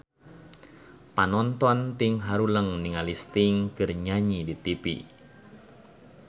Panonton ting haruleng ningali Sting keur nyanyi di tipi